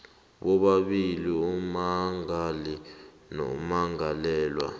bobabili ummangali nommangalelwa